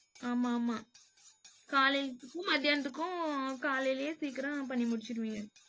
ஆமா ஆமா காலைலத்துக்கும், மதியானத்துக்கும் காலையிலேயே சீக்கிரம் பண்ணி முடிச்சுடுவிங்க?